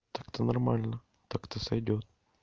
так-то нормально так-то сойдёт